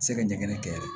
Se ka ɲɛgɛn kɛ